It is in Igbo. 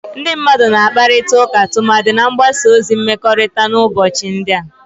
Ndị mmadụ na-akparịta ụka tumadi na mgbasa ozi mmekọrịta n'ụbọchị ndị a